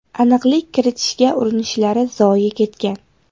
Aniqlik kiritishga urinishlari zoye ketgan.